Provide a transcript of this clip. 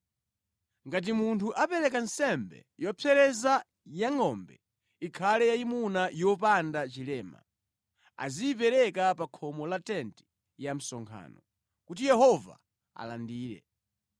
“ ‘Ngati munthu apereka nsembe yopsereza ya ngʼombe, ikhale yayimuna yopanda chilema. Aziyipereka pa khomo la tenti ya msonkhano, kuti Yehova alandire.